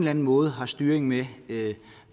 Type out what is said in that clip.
anden måde har styring med